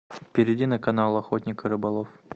перейди на канал охотник и рыболов